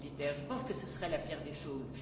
Je pense que ce serait la pire des choses.